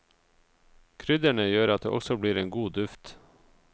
Krydderne gjør at det også blir en god duft.